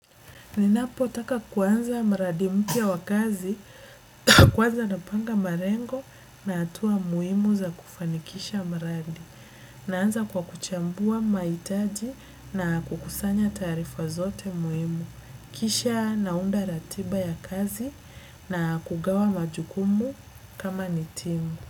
Ninapotaka kuanza mradi mpya wa kazi, kwanza napanga malengo na hatua muhimu za kufanikisha mradi. Naanza kwa kuchambua mahitaji na kukusanya taarifa zote muhimu. Kisha naunda ratiba ya kazi na kugawa majukumu kama ni timu.